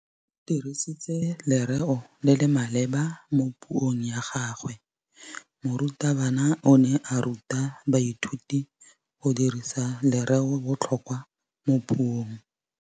O dirisitse lerêo le le maleba mo puông ya gagwe. Morutabana o ne a ruta baithuti go dirisa lêrêôbotlhôkwa mo puong.